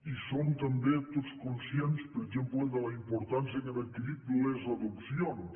i som també tots conscients per exemple de la importància que han adquirit les adopcions